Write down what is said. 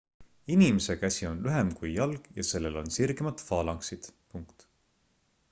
inimese käsi on lühem kui jalg ja sellel on sirgemad faalanksid